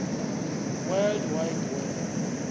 world wide web